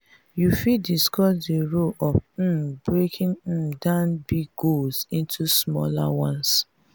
you fit discuss di role of um breaking um down big goals into smaller ones.